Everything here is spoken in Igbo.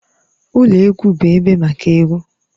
Ụlọ egwu bụ ebe maka egwu.